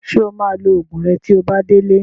Ṣé o máa lo Ògùn rẹ tí o bá ti délé